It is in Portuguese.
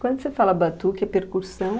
Quando você fala batuque, é percursão?